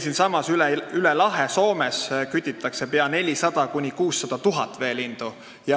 Siinsamas üle lahe Soomes kütitakse 400 000 – 600 000 veelindu.